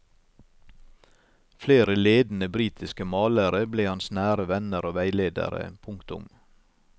Flere ledende britiske malere ble hans nære venner og veiledere. punktum